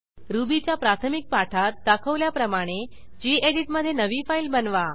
रुबीच्या प्राथमिक पाठात दाखवल्याप्रमाणे गेडीत मधे नवी फाईल बनवा